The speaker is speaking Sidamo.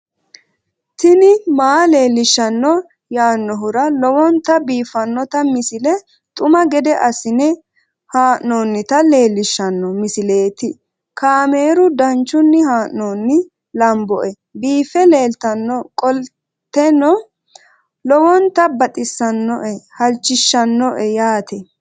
tini maa leelishshanno yaannohura lowonta biiffanota misile xuma gede assine haa'noonnita leellishshanno misileeti kaameru danchunni haa'noonni lamboe biiffe leeeltannoqolten lowonta baxissannoe halchishshanno yaate